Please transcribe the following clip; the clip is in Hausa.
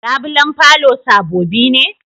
Labulen falo sabobi ne?